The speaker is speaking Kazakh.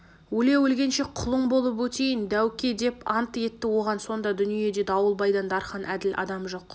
өле-өлгенше құлың болып өтейін дәуке деп ант етті оған сонда дүниеде дауылбайдан дархан әділ адам жоқ